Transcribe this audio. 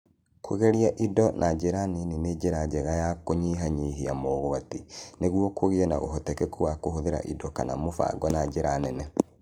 Kũgeria indo na njĩra nini nĩ njĩra njega ya kũnyihanyihia mogwati, nĩguo kũgĩe na ũhotekeku wa kũhũthĩra indo kana mũbango na njĩra nene.